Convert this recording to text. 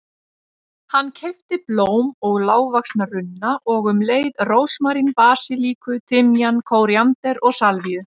Hann keypti blóm og lágvaxna runna og um leið rósmarín, basilíku, timjan, kóríander og salvíu.